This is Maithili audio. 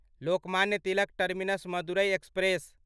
Lokmanya Tilak terminus Madurai express